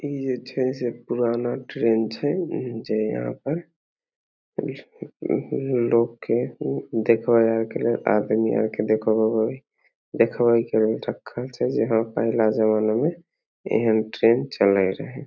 इ जे छै से पुराना ट्रेन छै जे यहाँ पर लोग के देख बे आर के लेल आदमी आर के देखबे देखबे के लेल रखल छै जे हां पहला जमाना मे एहेन ट्रेन चलय रहय ।